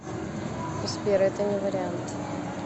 сбер это не вариант